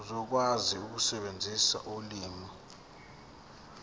uzokwazi ukusebenzisa ulimi